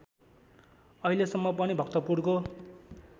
अहिलेसम्म पनि भक्तपुरको